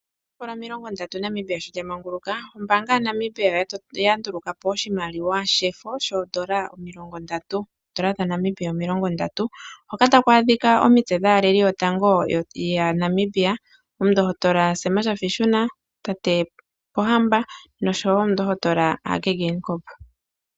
Oomvula omilongo ndatu Namibia sho lya manguluka ombaanga ya Namibia oya ndulukapo oshimaliwa shefo shoondola omilongo ndatu, Oondola dha Namibia omilongo ndatu hoka taku adhika omitse dhaaleli yotango ya Namibia. Omundohotola Sam Shafiishuna Nuujoma, Tate Pohamba noshowo komundohotola Hage Geingob.